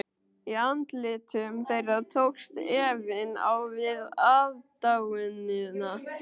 Í andlitum þeirra tókst efinn á við aðdáunina.